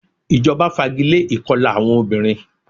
Ìjọba fagilé ìkọla àwọn obìnrin.